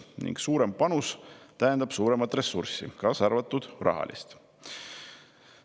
Ning suurem panus tähendab suuremat ressurssi, kaasa arvatud rahalist.